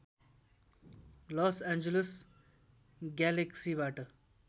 loss Angeles ग्यालेक्सिबाट